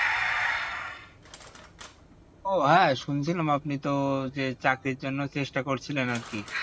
ও হ্যাঁ শুনছিলাম আপনি তো যে চাকরির জন্য চেষ্টা করছিলেন আর কি